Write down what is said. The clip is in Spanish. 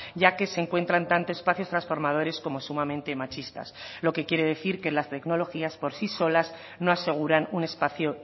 ya que se encuentran tantos espacios transformadores como sumamente machistas lo que quiere decir que las tecnologías por sí solas no aseguran un espacio